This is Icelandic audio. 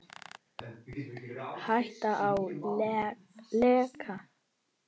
Hætta á leka?